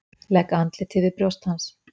Legg andlitið við brjóst hans.